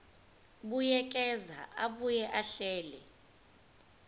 buyekeza abuye ahlele